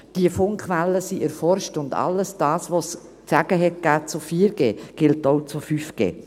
Die Funkwellen sind erforscht, und all das, was es zu 4G zu sagen gab, gilt auch für 5G.